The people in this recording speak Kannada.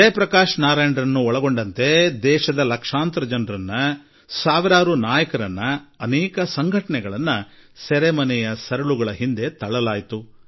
ಜಯಪ್ರಕಾಶ್ ನಾರಾಯಣ್ ಸೇರಿದಂತೆ ದೇಶದ ಲಕ್ಷಾಂತರ ಜನರನ್ನು ಸಾವಿರಾರು ನಾಯಕರನ್ನು ಅನೇಕ ಸಂಘಟನೆಗಳನ್ನು ಸೆರೆಮನೆಯ ಸರಳುಗಳ ಹಿಂದೆ ದಬ್ಬಲಾಗಿತ್ತು